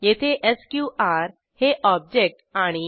येथे एसक्यूआर हे ऑब्जेक्ट आणि